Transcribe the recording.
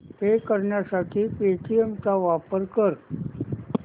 पे करण्यासाठी पेटीएम चा वापर कर